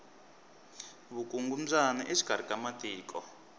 vukungumbyana exikari ka matiko